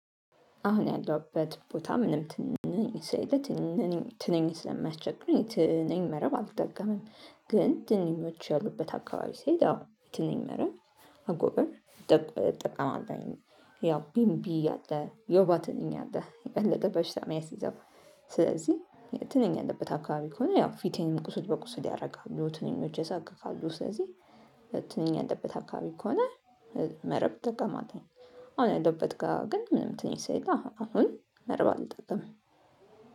አሁን ያለሁበት ቦታ ምንም ትንኝ ስለሌላ ትንኝ ስለማስቸግር ትንኝ መረብ አልጠቀምም ግን ትንኞች ያሉበት አካባቢ ስሄት አዎ ትንኝ መረብ አጎበር ጠቀ እጠቀመለሁኝ። ያው ቢምቢ አለ የውባ ትንኝ አለ የበለጠ በሽታ የሚያስዘው። ስለዚህ ትንኝ ያለበት አካባቢ ከሆነ ያው ፊቴን ቁስል በቁስል ያደርጋሉ ትንሽ ያሳክከሉ ስለዚህ ትንኝ ያለበት አካባቢ ከሆነ መረብ እጠቀማለሁኝ። አሁን ያለሁበት ጋር ግን ምንም ትንኝ ስላሌለ አሁን መረባ አልጠቀምም።